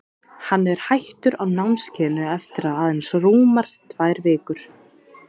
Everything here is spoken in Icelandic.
Hann er hættur á námskeiðinu eftir að aðeins rúmar tvær vikur.